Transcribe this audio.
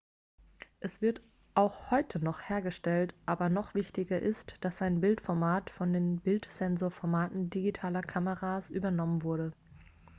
es wird auch heute noch hergestellt aber noch wichtiger ist dass sein bildformat von den bildsensorformaten digitaler kameras übernommen wurde